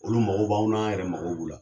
Olu mago b'anw na, anw yɛrɛ mago b'u la.